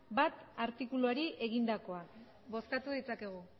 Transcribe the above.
bat artikuluari egindakoak bozkatu ditzakegu